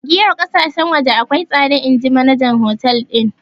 Giyan ƙasashen waje akwai tsada inji manajan hotel din.